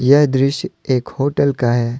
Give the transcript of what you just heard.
यह दृश्य एक होटल का है।